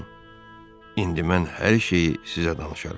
Dostum, indi mən hər şeyi sizə danışaram.